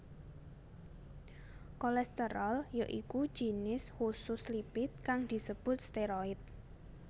Kolesterol ya iku jinis khusus lipid kang disebut steroid